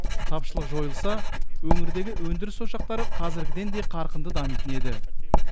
тапшылық жойылса өңірдегі өндіріс ошақтары қазіргіден де қарқынды дамитын еді